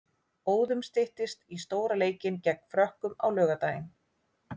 Óðum styttist í stóra leikinn gegn Frökkum á laugardaginn.